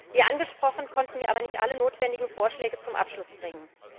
Wie angesprochen, konnten wir aber nicht alle notwendigen Vorschläge zum Abschluss bringen.